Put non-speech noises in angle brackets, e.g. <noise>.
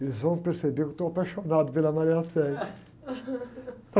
Eles vão perceber que eu estou apaixonado pela. <unintelligible> <laughs>